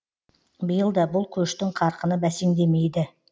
биыл да бұл көштің қарқыны бәсеңдемейді